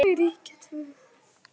Þau ríkja tvö.